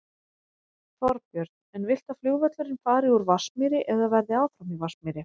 Þorbjörn: En viltu að flugvöllurinn fari úr Vatnsmýri eða verði áfram í Vatnsmýri?